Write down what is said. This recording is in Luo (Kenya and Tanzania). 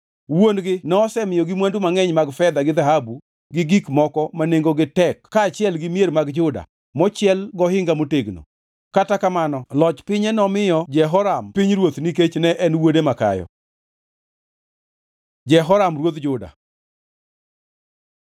Wuon-gi nosemiyogi mwandu mangʼeny mag fedha gi dhahabu gi gik moko ma nengogi tek kaachiel gi mier mag Juda mochiel gohinga motegno, kata kamano loch pinye nomiyo Jehoram pinyruoth nikech ne en wuode makayo. Jehoram ruodh Juda